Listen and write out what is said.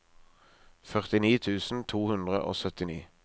førtini tusen to hundre og syttini